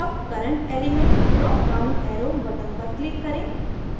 अब current element dropdown arrow button पर click करें